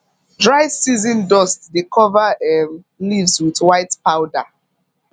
dry season dust dey cover um leaves with white powder